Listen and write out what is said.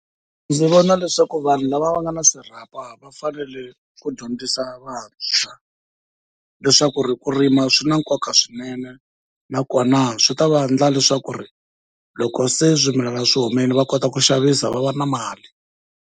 Ndzi vona leswaku vanhu lava va nga na swirhapa va fanele ku dyondzisa vantshwa leswaku ku rima swi na nkoka swinene, nakona swi ta va endla leswaku loko se swimilana swi humile va kota ku xavisa va va na mali.